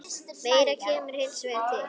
Meira kemur hins vegar til.